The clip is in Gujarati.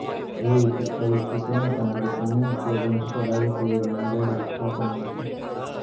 આવી વિકટ પરિસ્થિતિમાં તંત્ર પાણી ઉપલબ્ધ કરાવે તેવી બુમરાળ ઉઠવા પામી છે